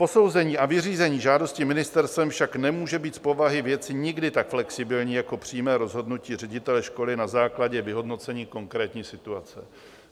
Posouzení a vyřízení žádosti ministerstvem však nemůže být z povahy věci nikdy tak flexibilní jako přímé rozhodnutí ředitele školy na základě vyhodnocení konkrétní situace.